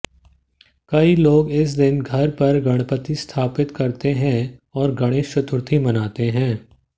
कई लोग इस दिन घर पर गणपति स्थापित करते हैं और गणेश चतुर्थी मनाते हैं